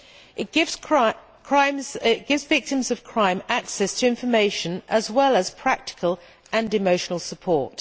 It gives victims of crime access to information as well as practical and emotional support.